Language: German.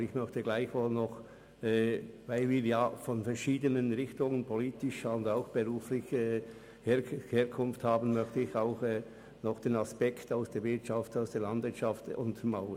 Trotzdem möchte ich, da wir ja politisch und beruflich aus verschiedenen Richtungen kommen, noch den Aspekt der Wirtschaft beziehungsweise der Landwirtschaft untermauern.